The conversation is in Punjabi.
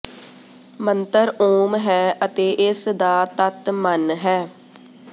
ਮੰਤਰ ਓਮ ਹੈ ਅਤੇ ਇਸ ਦਾ ਤੱਤ ਮਨ ਹੈ